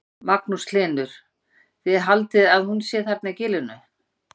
Magnús Hlynur: Þið haldið að hún sé þarna í gilinu?